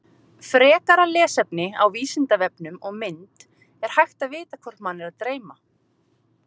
Gera þarf nokkurn greinarmun á siðvenjum í stórborgum annars vegar og minni byggðarlögum hins vegar.